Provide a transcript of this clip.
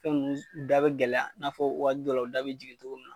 Fɛn nunnu da bɛ gɛlɛya i n'a fɔ waagati dɔ la u da bɛ jigin togo mun na.